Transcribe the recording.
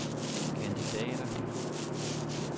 kandidater